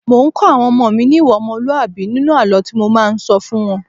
Mò ń́ kọ́ àwọn ọmọ mi ní ìwà ọmọlúàbí nínú àlọ́ tí mo máa ń sọ fún wọ́n.